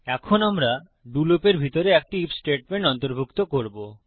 এখন আমরা ডো লুপের ভিতরে একটি আইএফ স্টেটমেন্ট অন্তর্ভুক্ত করবো